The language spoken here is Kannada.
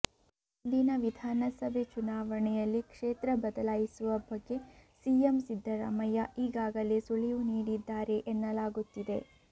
ಮುಂದಿನ ವಿಧಾನಸಭೆ ಚುನಾವಣೆಯಲ್ಲಿ ಕ್ಷೇತ್ರ ಬದಲಾಯಿಸುವ ಬಗ್ಗೆ ಸಿಎಂ ಸಿದ್ದರಾಮಯ್ಯ ಈಗಾಗಲೇ ಸುಳಿವು ನೀಡಿದ್ದಾರೆ ಎನ್ನಲಾಗುತ್ತಿದೆ